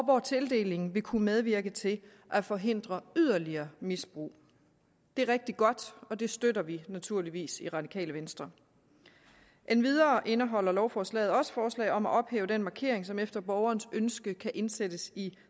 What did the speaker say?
hvor tildeling vil kunne medvirke til at forhindre yderligere misbrug det er rigtig godt og det støtter vi naturligvis i radikale venstre endvidere indeholder lovforslaget også forslag om at ophæve den markering som efter borgerens ønske kan indsættes i